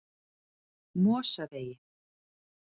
Mosavegi